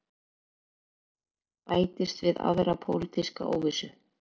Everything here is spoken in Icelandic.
Bætist við aðra pólitíska óvissu